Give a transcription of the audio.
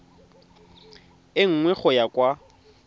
e nngwe go ya kwa